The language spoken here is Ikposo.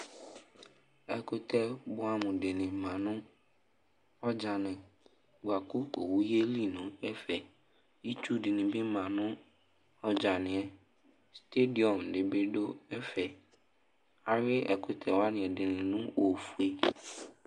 Ɛkʋtɛ bʋɛamʋ dɩnɩ ma nʋ ɔdzanɩ bʋa kʋ owu yeli nʋ ɛfɛ Itsu dɩnɩ bɩ ma nʋ ɔdzanɩ yɛ Stedɩɔm dɩ bɩ dʋ ɛfɛ Ayʋɩ ɛkʋtɛ wanɩ ɛdɩnɩ nʋ ofue